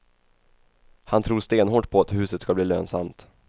Han tror stenhårt på att huset ska bli lönsamt.